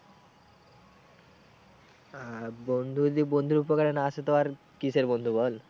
হ্যাঁ বন্ধু যদি বন্ধুর উপকারে না আসে তো আর কিসের বন্ধু বল?